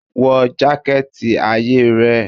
Wọ jaketi aye rẹ?